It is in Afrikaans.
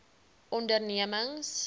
ondernemings